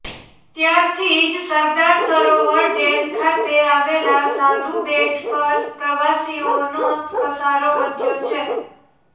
ત્યારથી જ સરદાર સરોવર ડેમ ખાતે આવેલા સાધુ બેટ પર પ્રવાસીઓનો ધસારો વધ્યો છે